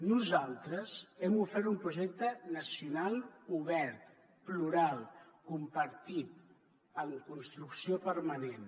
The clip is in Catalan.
nosaltres hem ofert un projecte nacional obert plural compartit en construcció permanent